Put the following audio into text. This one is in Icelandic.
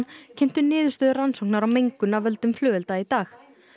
kynntu niðurstöður rannsóknar á mengun af völdum flugelda í dag